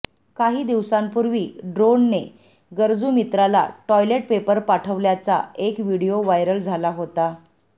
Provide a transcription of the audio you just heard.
काही दिवसांपुर्वी ड्रोनने गरजू मित्राला टॉयलेट पेपर पाठवल्याचा एक व्हिडीओ व्हायरल झाला होता